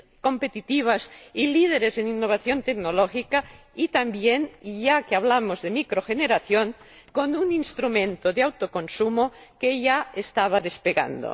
competitivas y líderes en innovación tecnológica y también, y ya que hablamos de microgeneración, con un instrumento de autoconsumo que ya estaba despegando.